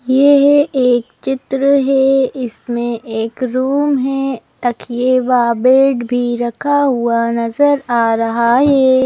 यह एक चित्र है इसमें एक रूम है तकिए व बेड भी रखा हुआ नजर आ रहा है।